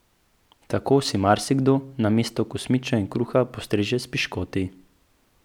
Tako si marsikdo na mesto kosmičev in kruha postreže s piškoti.